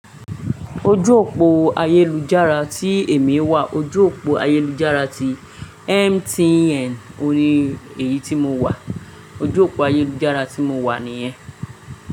Ojú òpó ayélujára tí èmi wà, ojú òpó ayélujára tí MTN, òní èyí tí mo wà, ojú òpó ayélujára tí mo wà nìyẹn.